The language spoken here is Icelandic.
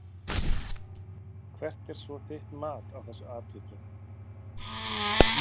Hvert er svo þitt mat á þessu atviki?